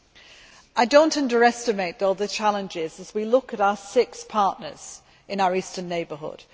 However, I do not underestimate all the challenges as we look at our six partners in our eastern neighbourhood.